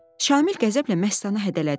Şamil qəzəblə Məstanı hədələdi.